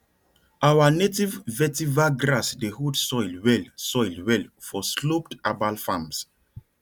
our native vetiver grass dey hold soil well soil well for sloped herbal farms